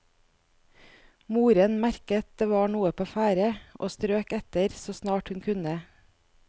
Moren merket det var noe på ferde, og strøk etter, så snart hun kunne.